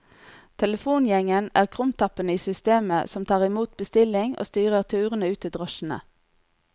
Telefongjengen er krumtappene i systemet som tar imot bestilling og styrer turene ut til drosjene.